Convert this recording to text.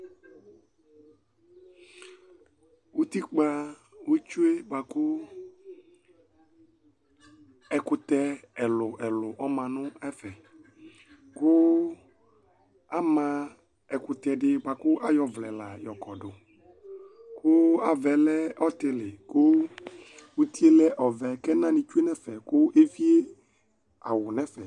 Utikpa ótsue bua ku ɛkutɛ ɛluɛlu ɔma nu ɛfɛ , ku ama ɛkutɛ di bua ku ayɔ ɔvlɛ la yɔkɔdu ku avaɛ lɛ ɔtili ku utie lɛ ɔvɛ, k'ɛna ni otsue n'ɛfɛ, ku evié awù n'ɛfɛ